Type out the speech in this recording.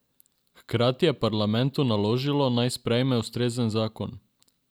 Hkrati je parlamentu naložilo, naj sprejme ustrezen zakon.